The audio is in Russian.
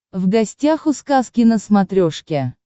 в гостях у сказки на смотрешке